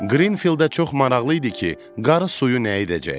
Qrinfieldə çox maraqlı idi ki, qarı suyu nə edəcək.